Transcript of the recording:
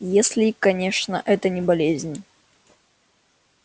если конечно это не болезнь